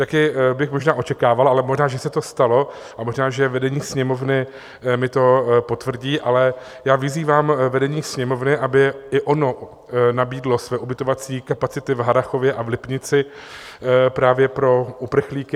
Taky bych možná očekával, ale možná, že se to stalo a možná že vedení Sněmovny mi to potvrdí, ale já vyzývám vedení Sněmovny, aby i ono nabídlo své ubytovací kapacity v Harrachově a v Lipnici právě pro uprchlíky.